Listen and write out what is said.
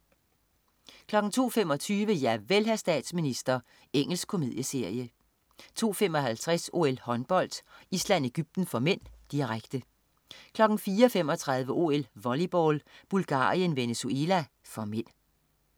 02.25 Javel, hr. statsminister. Engelsk komedieserie 02.55 OL: Håndbold. Island-Egypten (m), direkte 04.35 OL: Volleyball. Bulgarien-Venezuela (m)